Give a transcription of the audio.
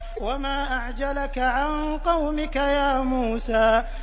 ۞ وَمَا أَعْجَلَكَ عَن قَوْمِكَ يَا مُوسَىٰ